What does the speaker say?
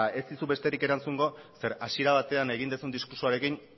ez dizut besterik erantzungo zeren hasiera batean egin duzun diskurtsoarekin